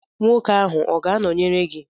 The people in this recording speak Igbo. Nwoke ahụ ọ ga-anọnyere gị?